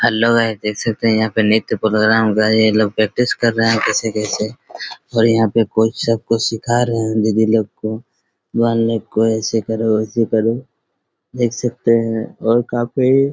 hello guys देख सकते है यहाँ पे निर्त्य प्रोग्राम ये लोग प्रैक्टिस कर रहे हैं कैसे-कैसे और यहाँ पे कोच सब कुछ सीखा रहे हैं दीदी लोग को गर्ल लोग को ऐसे करो वैसे करो देख सकते है और काफी